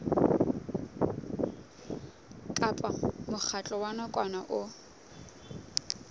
kapa mokgatlo wa nakwana o